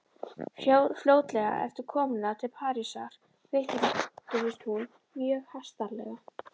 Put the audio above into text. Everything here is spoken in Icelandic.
Fljótlega eftir komuna til Parísar veiktist hún mjög hastarlega.